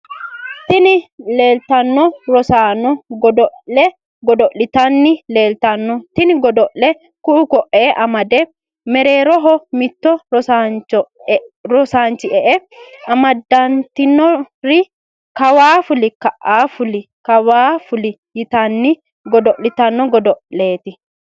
Tini leleitano rossano godoole godolitani lelitano. Tini godoleno ku’u ko’’e amade mereroho mittu rosanichi e’e amadanitinore kawwa fullo kawwa kawwa fulli yitanni gkdolitano godoleti.